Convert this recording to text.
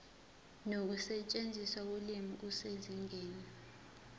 nokusetshenziswa kolimi kusezingeni